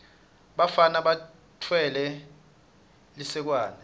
bafana batfwele lisekwane